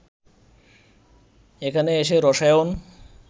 এখানে এসে রসায়ন